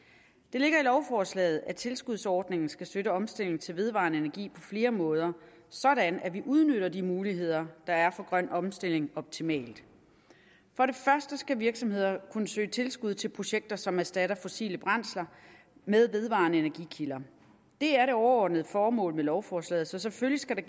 ligger i lovforslaget at tilskudsordningen skal støtte omstilling til vedvarende energi på flere måder sådan at vi udnytter de muligheder der er for grøn omstilling optimalt for det første skal virksomheder kunne søge tilskud til projekter som erstatter fossile brændsler med vedvarende energikilder det er det overordnede formål med lovforslaget så selvfølgelig skal